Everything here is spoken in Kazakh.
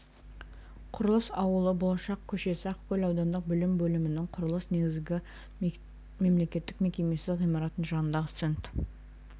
құрылыс ауылы болашақ көшесі ақкөл аудандық білім бөлімінің құрылыс негізгі мектеп мемлекеттік мекемесі ғимаратының жанындағы стенд